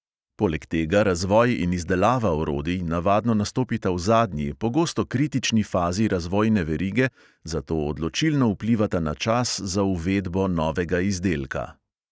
Poleg tega razvoj in izdelava orodij navadno nastopita v zadnji, pogosto kritični fazi razvojne verige, zato odločilno vplivata na čas za uvedbo novega izdelka.